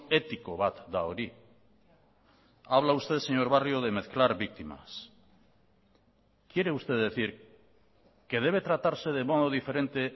etiko bat da hori habla usted señor barrio de mezclar víctimas quiere usted decir que debe tratarse de modo diferente